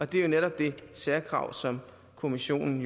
det er jo netop det særkrav som kommissionen